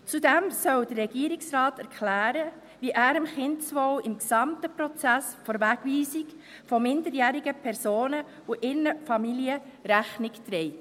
Zudem soll der Regierungsrat erklären, wie er dem Kindeswohl im gesamten Prozess der Wegweisung von minderjährigen Personen und ihren Familien Rechnung trägt.